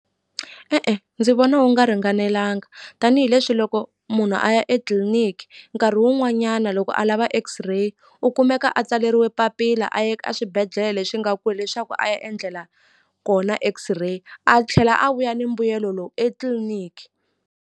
E-e ndzi vona wu nga ringanelanga tanihileswi loko munhu a ya etliliniki nkarhi wun'wanyana loko a lava X-Ray u kumeka a tsaleriwe papila a ye ka swibedhlele leswi nga kule leswaku a ya endlela kona X-ray a tlhela a vuya ni mbuyelo lowu etliliniki.